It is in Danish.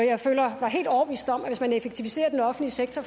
effektivisere den offentlige sektor